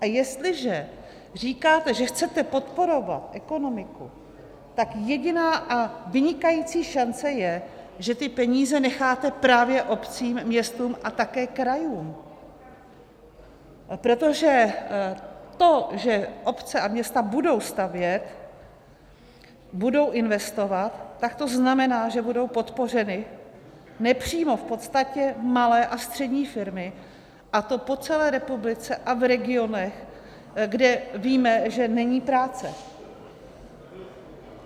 A jestliže říkáte, že chcete podporovat ekonomiku, tak jediná a vynikající šance je, že ty peníze necháte právě obcím, městům a také krajům, protože to, že obce a města budou stavět, budou investovat, tak to znamená, že budou podpořeny nepřímo v podstatě malé a střední firmy, a to po celé republice a v regionech, kde víme, že není práce.